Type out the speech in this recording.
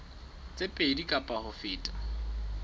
tse pedi kapa ho feta